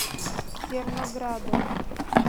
зерноградом